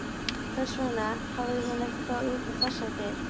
Hvers vegna hafði hún ekki farið út um þessar dyr?